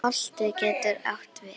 Holtið getur átt við